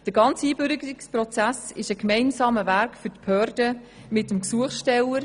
Der ganze Einbürgerungsprozess ist ein gemeinsamer Weg der Behörden mit dem Gesuchsteller.